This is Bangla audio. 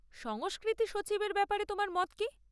সংস্কৃতি সচিবের ব্যাপারে তোমার মত কী?